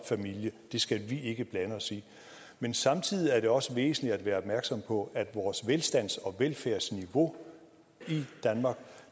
familie det skal vi ikke blande os i men samtidig er det også væsentligt at være opmærksom på at vores velstands og velfærdsniveau